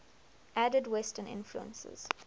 added western influences